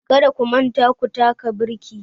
Kada ku manta ku taka birki